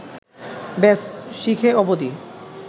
ব্যস, শিখে অবদি